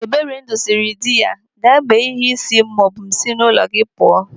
Eberendu siri diya, "Gaa mee ihe isi m maọbụ m si n'ụlọ gị pụọ".